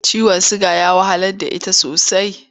Ciwon suga ya wahalar da ita sosai.